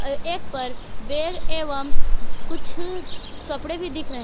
और एक पर बैग एवं कुछ कपड़े भी दिख रहे--